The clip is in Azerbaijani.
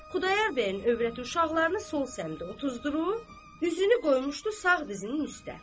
Xudayar bəyin övrəti uşaqlarını sol samdə otuzdurub, üzünü qoymuşdu sağ dizinin üstə.